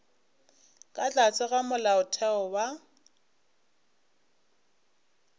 ka tlase ga molaotheo wa